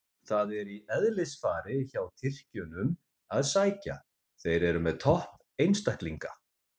Það er í eðlisfari hjá Tyrkjunum að sækja, þeir eru með topp einstaklinga.